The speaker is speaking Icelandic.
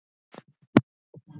En lengra komst hann ekki.